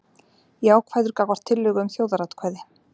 Jákvæður gagnvart tillögu um þjóðaratkvæði